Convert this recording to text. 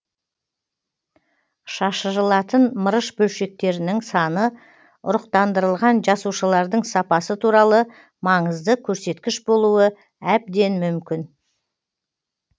шашырылатын мырыш бөлшектерінің саны ұрықтандырылған жасушалардың сапасы туралы маңызды көрсеткіш болуы әбден мүмкін